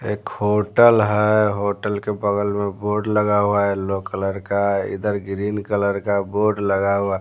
एक होटल है होटल के बगल में बोर्ड लगा हुआ है येलो कलर का इधर ग्रीन कलर का बोर्ड लगा हुआ है।